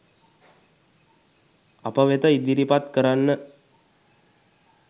අප වෙත ඉදිරිපත් කරන්න.